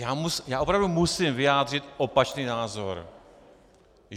Já opravdu musím vyjádřit opačný názor.